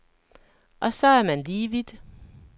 Og så er man lige vidt.